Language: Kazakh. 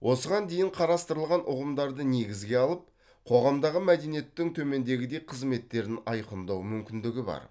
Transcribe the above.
осыған дейін қарастырылған ұғымдарды негізге алып қоғамдағы мәдениеттің төмендегідей қызметтерін айқындау мүмкіндігі бар